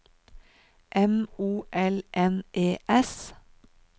M O L N E S